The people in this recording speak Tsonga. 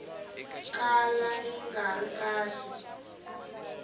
kala yi nga ri kahle